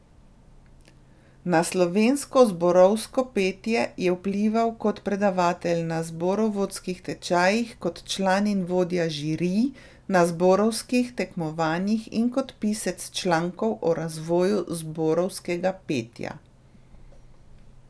Na slovensko zborovsko petje je vplival kot predavatelj na zborovodskih tečajih, kot član in vodja žirij na zborovskih tekmovanjih in kot pisec člankov o razvoju zborovskega petja.